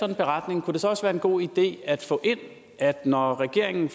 en beretning kunne det så også være en god idé at få ind at når regeringen